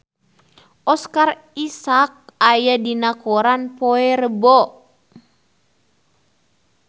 Oscar Isaac aya dina koran poe Rebo